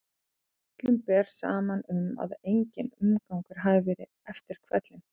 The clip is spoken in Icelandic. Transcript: Öllum ber saman um að enginn umgangur hafi verið eftir hvellinn.